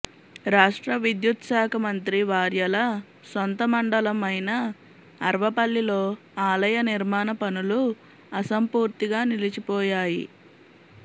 రాష్ట్ర విద్యుత్శాఖ మంత్రి వార్యల సొంత మండలం అయిన అర్వపల్లిలో ఆలయ నిర్మాణ పనులు అసంపూర్తిగా నిలిచిపోయాయి